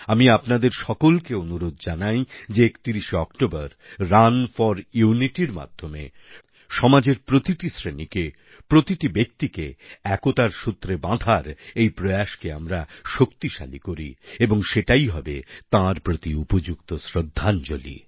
আমি আপনাদের সকলকে অনুরোধ জানাই যে ৩১শে অক্টোবর রান ফোর Unityর মাধ্যমে সমাজের প্রতিটি শ্রেণিকে প্রতিটি ব্যক্তিকে একতার সূত্রে বাঁধার এই প্রয়াসকে আমরা শক্তিশালী করি এবং সেটাই হবে তাঁর প্রতি উপযুক্ত শ্রদ্ধাঞ্জলি